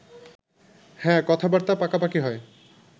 হ্যাঁ, কথাবার্তা পাকাপাকি হয়